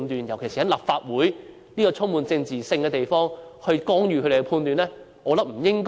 尤其是在立法會這個充滿政治性的地方，我們應否干預懲教人員的判斷？